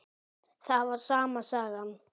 Það var sama sagan.